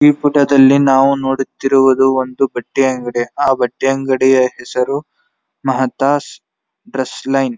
ಈ ಫೋಟೋ ದಲ್ಲಿ ನಾವು ನೋಡುತ್ತಿರುವುದುದ್ ಒಂದು ಬಟ್ಟೆ ಅಂಗಡಿ ಆ ಬಟ್ಟೆ ಅಂಗಡಿಯ ಹೆಸರು ಮಾತ ಡ್ರೆಸ್ ಲೈನ್ .